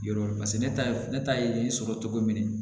Yɔrɔ paseke ne ta ye ne ta ye sɔrɔ cogo min na